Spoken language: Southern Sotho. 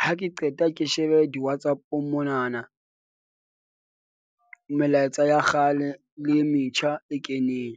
Ha ke qeta ke shebe di-Whatsapp-ong mona na, melaetsa ya kgale le e metjha e keneng.